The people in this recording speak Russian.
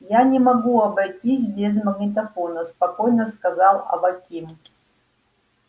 я не могу обойтись без магнитофона спокойно сказал аваким